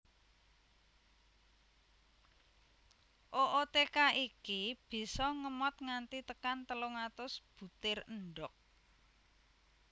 Ootheca iki bisa ngemot nganti tekan telung atus butir endhog